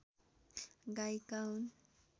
गायिका हुन्